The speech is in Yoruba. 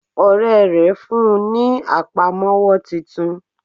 Ọ̀rẹ́ rè fún un ní àpamówọ́ titun